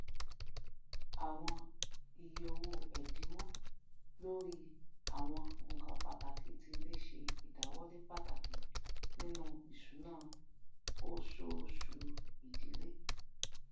àwọn ìye owó ẹdínwò lórí àwọn nkan pàtàkì ti ilé ṣe ìdàwọlé pàtàkì nínú ìṣúná oṣooṣu ìdílé